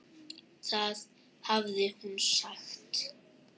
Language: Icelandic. Það hafði hún sagt.